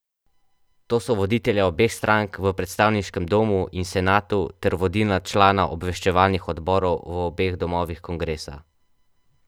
To so voditelja obeh strank v predstavniškem domu in senatu ter vodilna člana obveščevalnih odborov v obeh domovih kongresa.